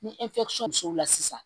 Ni sisan